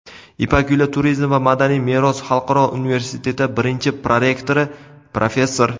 "Ipak yo‘li" turizm va madaniy meros xalqaro universiteti birinchi prorektori, professor;.